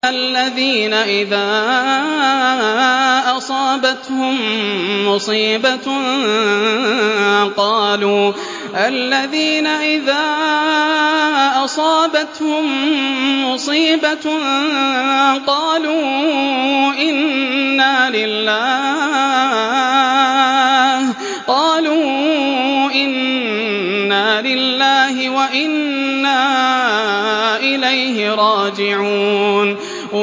الَّذِينَ إِذَا أَصَابَتْهُم مُّصِيبَةٌ قَالُوا إِنَّا لِلَّهِ وَإِنَّا إِلَيْهِ رَاجِعُونَ